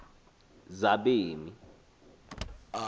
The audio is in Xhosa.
zabemi